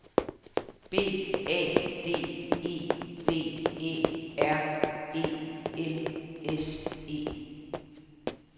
B A D E V Æ R E L S E